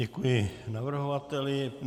Děkuji navrhovateli.